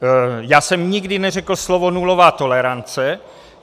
Já jsem nikdy neřekl slovo nulová tolerance.